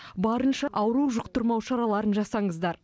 барынша ауру жұқтырмау шараларын жасаңыздар